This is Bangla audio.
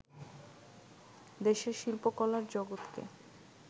দেশের শিল্পকলার জগৎকে